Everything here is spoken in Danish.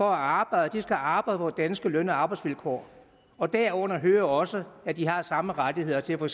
arbejde skal arbejde på danske løn og arbejdsvilkår og derunder hører også at de har samme rettigheder til for